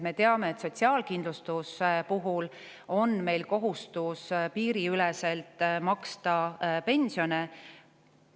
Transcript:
Me teame, et sotsiaalkindlustuse puhul on meil kohustus piiriüleselt maksta pensione.